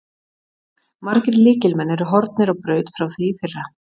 Margir lykilmenn eru horfnir á braut frá því í fyrra.